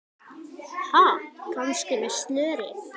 Ha, kannski með slöri?